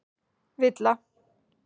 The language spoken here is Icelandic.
Villa